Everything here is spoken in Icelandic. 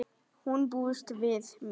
Hún búist við mér.